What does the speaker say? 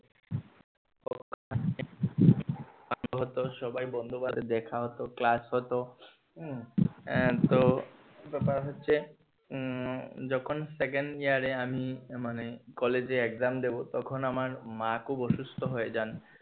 সবাই বন্ধু বাদে দেখা হতো ক্লাস হতো উম আহ তো ব্যাপার হচ্ছে উম যখন second year এ আমি মানে কলেজে exam দিবো তখন আমার মা খুব অসুস্থ হয়ে যান